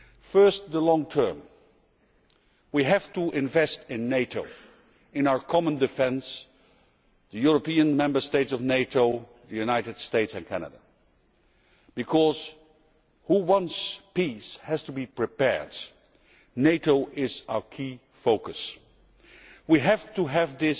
First, in the long term, we have to invest in NATO, in our common defence the European Member States of NATO, the United States and Canada because whoever wants peace has to be prepared. NATO is our key focus. We have to have